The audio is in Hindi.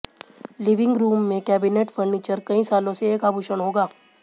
लिविंग रूम में कैबिनेट फर्नीचर कई सालों से एक आभूषण होगा